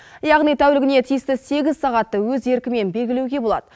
яғни тәулігіне тиісті сегіз сағатты өз еркімен белгілеуге болады